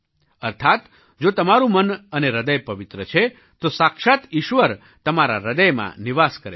અર્થાત્ જો તમારું મન અને હૃદય પવિત્ર છે તો સાક્ષાત્ ઈશ્વર તમારા હૃદયમાં નિવાસ કરે છે